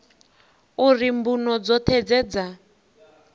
uri mbuno dzoṱhe dze dza